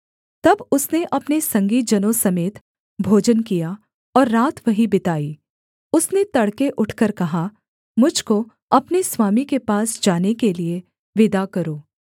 तब उसने अपने संगी जनों समेत भोजन किया और रात वहीं बिताई उसने तड़के उठकर कहा मुझ को अपने स्वामी के पास जाने के लिये विदा करो